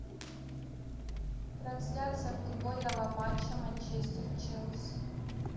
трансляция футбольного матча манчестер челси